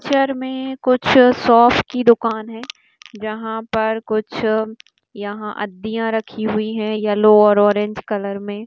Picture में कुछ soaps की दूकान है जहां पर कुछ यहां अड्डियां रखी है यलो और ऑरेंज कलर में।